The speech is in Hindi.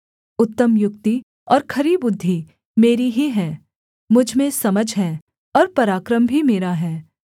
उत्तम युक्ति और खरी बुद्धि मेरी ही है मुझ में समझ है और पराक्रम भी मेरा है